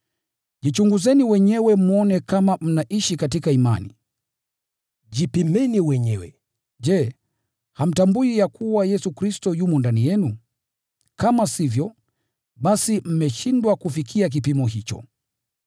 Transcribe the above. Jichunguzeni wenyewe mwone kama mnaishi katika imani. Jipimeni wenyewe. Je, hamtambui ya kuwa Yesu Kristo yumo ndani yenu? Kama sivyo, basi, mmeshindwa kufikia kipimo hicho!